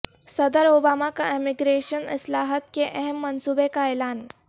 صدر اوباما کا امیگریشن اصلاحات کے اہم منصوبے کا اعلان